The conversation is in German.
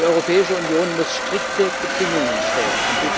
Die Europäische Union muss strikte Bedingungen stellen.